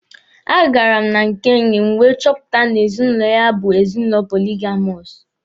A gara m na nke enyi wee chọpụta na ezinụlọ ha bụ ezinụlọ poligamọsụ.